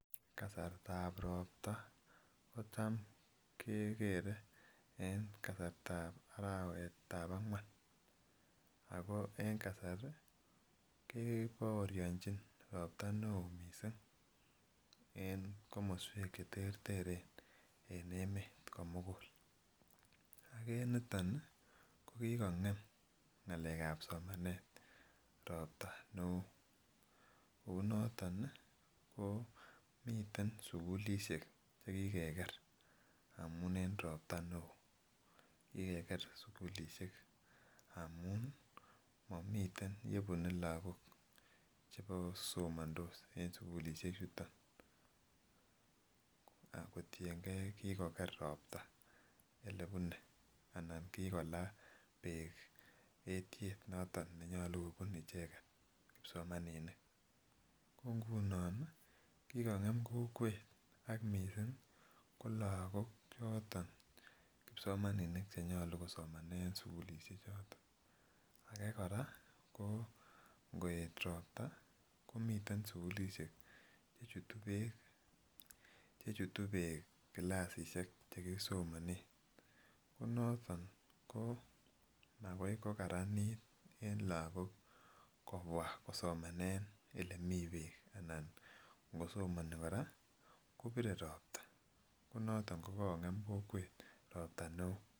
Kasartab ropta ko tam keger en arawet ab angwan, ako en kasari kebooryonjin ropta neo missing en komoswek cheterteren en emet komugul, ak en niton ii kokikong'em ng'alek ab somanet ropta neo, kounonot ii komiten sugulisiek chekikeger amun en ropta neo, kikeger sugulisiek amun momiten yebune lagok chebokosomondos en sugulisiek chuton, ak kotiengen kokikoger ropta olebune ala kigolaa beek etyet nenyolu kobune icheget kipsomanini, ko ngunon ii kigong'em kokwet ak missing ko lagok choton kimsomaninik chenyolu kosomanen sugulisiek choton, age kora ko ngo'et ropta komiten sugulisiet chechuto beek kilasisiek chekisomanen, ko noton ko magoi kogaranit en lagok kobwa kosomanen olemi beek alan ng'osomoni kora kobire ropta ko noton ko kong'em kokwet ropta neo.